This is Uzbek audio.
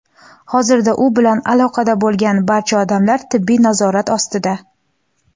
Hozirda u bilan aloqada bo‘lgan barcha odamlar tibbiy nazorat ostida.